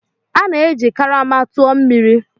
A na-eji karama tụọ mmiri.